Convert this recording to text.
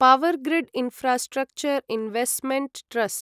Powergrid infrastructure investment trust